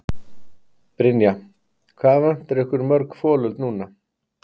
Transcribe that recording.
Brynja: Hvað vantar ykkur mörg folöld núna?